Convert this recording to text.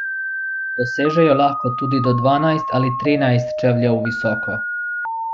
Dosežejo lahko tudi do dvanajst ali trinajst čevljev visoko.